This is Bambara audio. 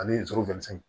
Ani